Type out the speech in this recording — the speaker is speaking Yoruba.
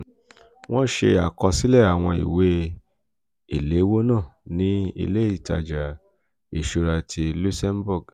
wọ́n ṣe àkọsílẹ̀ àwọn ìwé ìléwọ́ náà ní ilé ìtajà ìṣúra ti luxembourg.